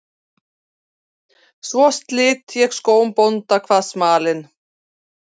Svo slit ég skóm bónda, kvað smalinn.